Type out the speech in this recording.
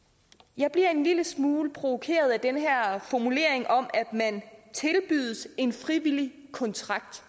jeg bliver en lille smule provokeret af den her formulering om at man tilbydes en frivillig kontrakt